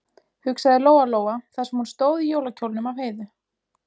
hugsaði Lóa-Lóa þar sem hún stóð í jólakjólnum af Heiðu.